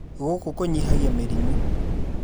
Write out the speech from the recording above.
Gũkũ kũnyihagia mĩrimũ